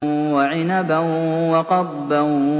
وَعِنَبًا وَقَضْبًا